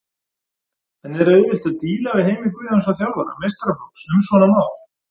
En er auðvelt að díla við Heimir Guðjónsson þjálfara meistaraflokks um svona mál?